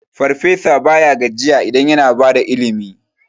Farfesa baya gajiya idan yana bada ilimi.